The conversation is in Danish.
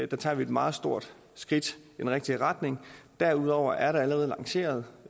der tager vi et meget stort skridt i den rigtige retning derudover er der allerede lanceret